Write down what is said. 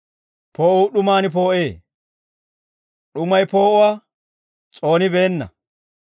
Poo'uu d'umaan poo'ee; d'umay poo'uwaa s'oonibeenna.